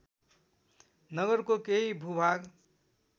नगरको केही भूभाग